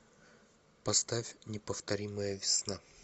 поставь неповторимая весна